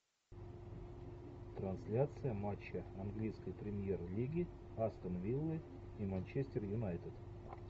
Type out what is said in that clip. трансляция матча английской премьер лиги астон виллы и манчестер юнайтед